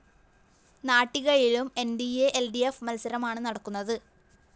നാട്ടികയിലും N D A L D F മത്സരമാണ് നടക്കുന്നത്